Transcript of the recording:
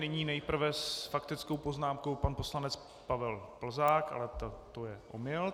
Nyní nejprve s faktickou poznámkou pan poslanec Pavel Plzák - ale to je omyl.